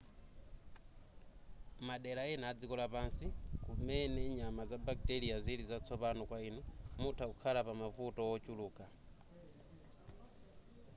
madera ena adziko lapansi kumene nyama za bacteria zili zatsopano kwa inu mutha kukhala pamavuto wochuluka